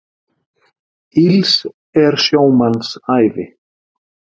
Ills er sjómanns ævi.